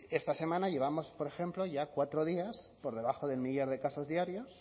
esta semana llevamos por ejemplo ya cuatro días por debajo del millar de casos diarios